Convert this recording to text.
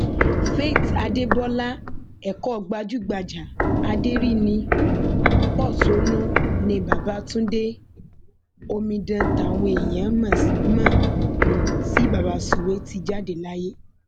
faith adébọlá ẹkọ gbajúgbajà aderiní pọṣónú nni babatundé omidan táwọn èèyàn mọ um sí baba sụwe ti um jáde láyé